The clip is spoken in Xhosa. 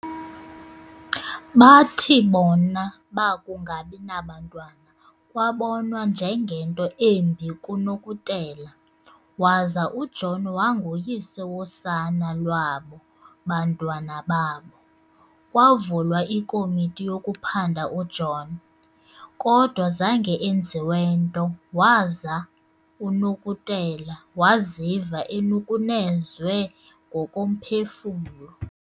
Bathi kona bakungabi nabantwana kwabonwa njengento embi kuNokutela, waza uJohn wanguyise wosana lwabo bantwana babo. Kwavulwa ikomiti yokuphanda uJohn, kodwa zange enziwe nto waza uNokutela waziva enukunezwe ngokomphefumlo.